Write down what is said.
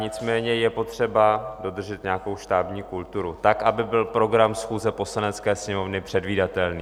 Nicméně je potřeba dodržet nějakou štábní kulturu tak, aby byl program schůze Poslanecké sněmovny předvídatelný.